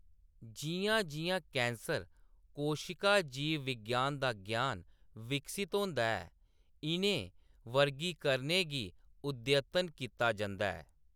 जिʼयां-जिʼयां cancer कोशिका जीव विज्ञान दा ग्यान विकसत होंदा ऐ, इʼनें वर्गीकरणें गी अद्यतन कीता जंदा ऐ।